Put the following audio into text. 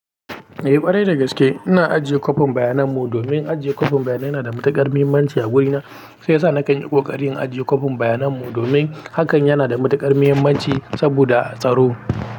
Eh ƙwarai da gaske ina ajiye kwafin bayanan mu domin ajiye kwafin bayanai yana da matuƙar muhimmanci a wurina. Sai sa nakan yi ƙoƙarin ajiye kwafin bayanan mu domin hakan yana da matuƙar muhimmanci saboda tsaro.